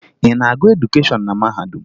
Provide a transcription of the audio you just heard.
Ị na-agụ edukeshọn na mahadum?